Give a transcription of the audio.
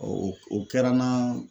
O o kɛra n na